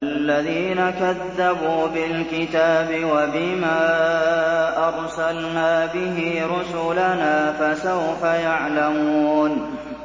الَّذِينَ كَذَّبُوا بِالْكِتَابِ وَبِمَا أَرْسَلْنَا بِهِ رُسُلَنَا ۖ فَسَوْفَ يَعْلَمُونَ